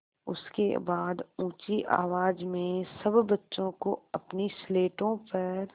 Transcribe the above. उसके बाद ऊँची आवाज़ में सब बच्चों को अपनी स्लेटों पर